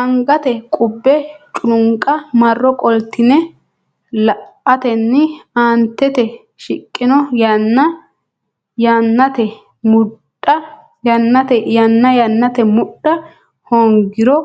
Angate qubbe culunqa marro qoltine la atenni aantete shiqqino yanna yannate mudha hoongiro